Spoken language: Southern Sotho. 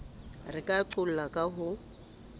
re ka qolla ka ho